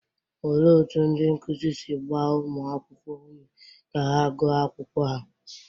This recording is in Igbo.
Olee otú ndị nkụzi si gbaa ụmụ akwụkwọ ume ka ha gụọ akwụkwọ ha?